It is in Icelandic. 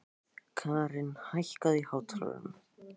Karin, hækkaðu í hátalaranum.